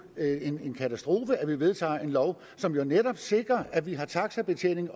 er en katastrofe at vi vedtager en lov som jo netop sikrer at vi også har taxabetjening